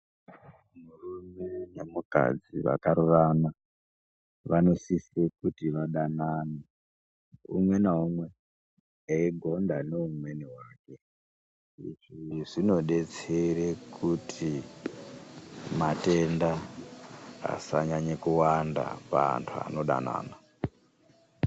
Murume ne mukadzi vakarorana vanosise kuti vadanane umwe na umwe eyi gonda ne umweni wake izvi zvinodetsere kuti matenda asa nyanye kuwanda pa antu anodanana.